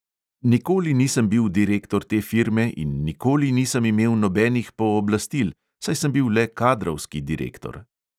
Nikoli nisem bil direktor te firme in nikoli nisem imel nobenih pooblastil, saj sem bil le kadrovski direktor.